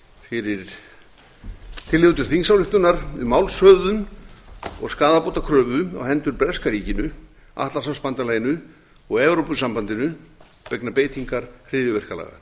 fyrir tillögu til þingsályktunar um málshöfðun og skaðabótakröfu á hendur breska ríkinu atlantshafsbandalaginu og evrópusambandinu vegna beitingar hryðjuverkalaga